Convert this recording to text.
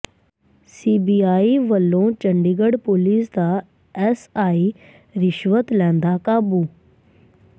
CBI ਵੱਲੋਂ Chandigarh police ਦਾ SI ਰਿਸ਼ਵਤ ਲੈਂਦਾ ਕਾਬੂ